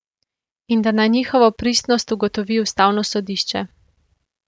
In da naj njihovo pristnost ugotovi ustavno sodišče.